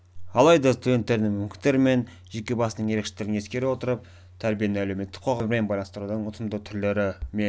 алайда студенттердің мүмкіндіктері мен жеке басының ерекшеліктерін ескеру отырып тәрбиені әлеуметтік қоғам өмірімен байланыстырудың ұтымды түрлері мен